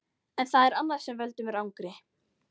En það er annað sem veldur mér angri.